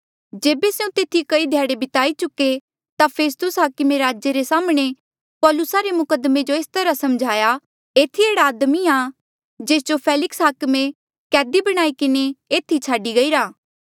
जेबे स्यों तेथी कई ध्याड़े बिताई चुके ता फेस्तुस हाकमे राजे रे साम्हणें पौलुसा रे मुकद्दमे जो एस तरहा समझाया एथी एह्ड़ा आदमी आ जेस जो फेलिक्स हाकमे कैदी बणाई किन्हें एथी छाडी गईरा था